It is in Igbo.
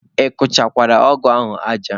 Ị kụchakwara ọgụ ahụ aja?